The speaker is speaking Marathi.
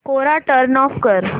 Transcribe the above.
कोरा टर्न ऑफ कर